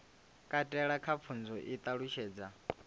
katela kha pfunzo i ṱalutshedza